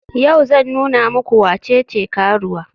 Yau zan nuna muku wacece karuwa.